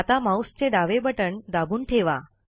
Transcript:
आता माऊसचे डावे बटण दाबून ठेवा